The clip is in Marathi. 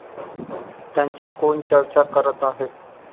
त्यांची कोण चर्चा करत आहे?